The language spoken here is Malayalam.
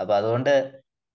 അപ്പം അതുകൊണ്ട്